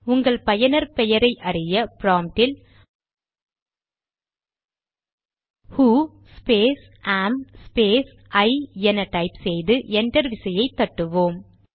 உங்கள் பயனர் பெயரை அறிய ப்ராம்ட்டில் who space am space I என டைப் செய்து என்டர் விசையை தட்டுவோம்